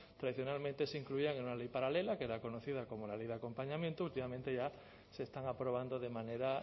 tradicionalmente se incluían en una ley paralela que era conocida como la ley de acompañamiento últimamente ya se están aprobando de manera